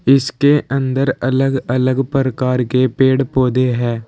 इसके अंदर अलग अलग परकार के पेड़ पौधे है।